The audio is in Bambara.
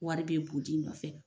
Wari be bud'i nɔfɛ